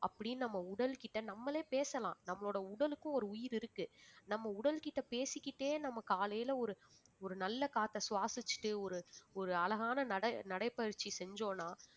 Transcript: அப்படின்னு நம்ம உடல்கிட்ட நம்மளே பேசலாம் நம்மளோட உடலுக்கும் ஒரு உயிர் இருக்கு நம்ம உடல்கிட்ட பேசிக்கிட்டே நம்ம காலையில ஒரு ஒரு நல்ல காற்றை சுவாசிச்சுட்டு ஒரு ஒரு அழகான நடை~ நடைபயிற்சி செஞ்சோம்ன்னா